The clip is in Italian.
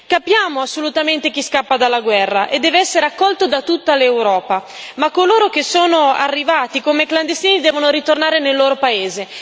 Capiamo assolutamente chi scappa dalla guerra e deve essere accolto da tutta l'Europa, ma coloro che sono arrivati come clandestini devono ritornare nel loro paese.